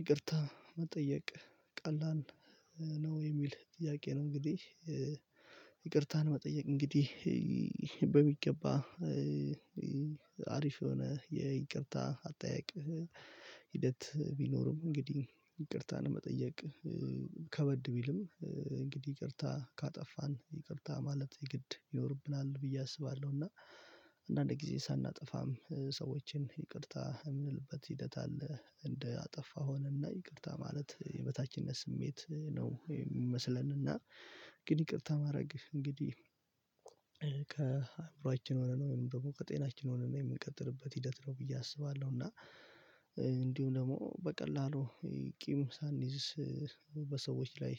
ይቅርታ መጠየቅ ቀላን ነው የሚል ጥያቄ ነው። እንግዲህ መጠየቅ እንግዲህ በሚገባ አሪፍ የሆነ የይቅርታ አጠያቅ። ሂደት ቢኖርም እንግዲህ ይቅርታን መጠየቅ ከበድ ቢልም እንግዲህ ይቅርታ ካጠፋን ይቅርታ ማለት የግድ ይኖርብናል ብዬ አስባለሁ። እና አንዳንድ ጊዜ ሳናጠፋም ሰዎችን ይቅርታ የምንልበት ሂደት አለ እንዳጠፋ ሆነና ይቅርታ ማለት የበታችነት ስሜት ነው። የሚመስለንና ግን ይቅርታ ማድረግ እንግዲህ ከአእምሮአችን ሆነን ወይም ደግሞ ከጤናችን ሆነን የምንቀጥልበት ሂደት ነው ብዬ አስባለሁ። እና እንዲሁ ደግሞ በቀላሉ ቂም ሳንይዝስ በሰዎች ላይ